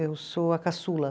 Eu sou a caçula.